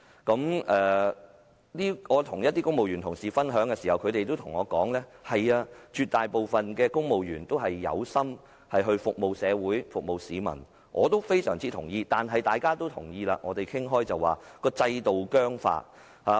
在與公務員同事分享時，他們也告訴我，絕大部分公務員都有心服務社會及市民——我對此也大有同感——問題在於制度僵化。